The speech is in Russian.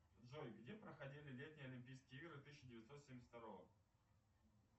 джой где проходили летние олимпийские игры тысяча девятьсот семьдесят второго